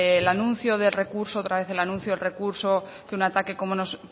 el anuncio de recurso otra vez el anuncio del recurso que un ataque pero yo